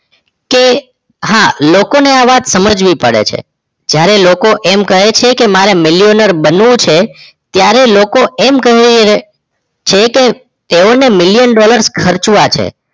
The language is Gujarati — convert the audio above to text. કે હા લોકો આ વાત સમજવી પડે છે જયારે લોકો એમ કહે છે મારે મીલીનીર બનવું છે ત્યારે લોકો એમ કહી રહે છે કે તેઓ ને મિલિયન ડોલર ખર્ચવા છે